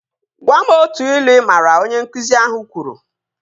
Gwam otu ilu ị maara! Onye nkụzi ahụ kwuru